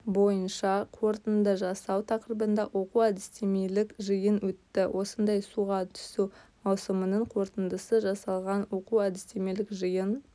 бойынша қорытынды жасау тақырыбында оқу-әдістемелік жиын өтті осындай суға түсу маусымының қорытындысы жасалған оқу-әдістемелік жиын